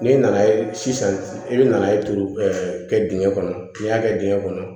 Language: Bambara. N'i nana sisan i bɛ na e turu kɛ dingɛn kɔnɔ n'i y'a kɛ dingɛ kɔnɔ